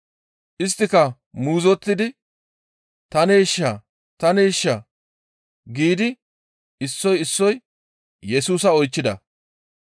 Isttika muuzottidi, «Taneeshaa? Taneeshaa?» giidi issoy issoy Yesusa oychchida.